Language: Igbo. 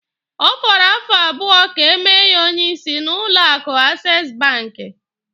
Ọ fọrọ afọ abụọ ka e mee ya onye isi n'ụlọ akụ Ases banki.